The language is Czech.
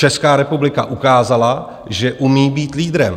Česká republika ukázala, že umí být leaderem.